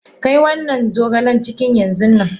Kai wannan zogalen kicin yanzunnan.!